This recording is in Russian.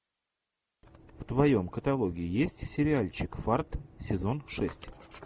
в твоем каталоге есть сериальчик фарт сезон шесть